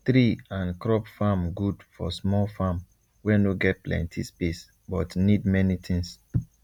tree and crop farm good for small farm wey no get plenty space but need many things